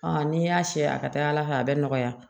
n'i y'a siyɛ a ka ca ala fɛ a bɛ nɔgɔya